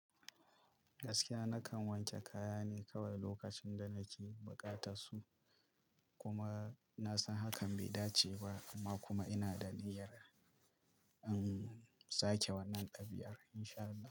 Gaskiya nakan wanke kaya ne kawai lokacin da nake buƙatar su. Kuma na san hakan bai dace ba amma kuma ina da niyyar in sake wannan ɗabiar in sha Allah.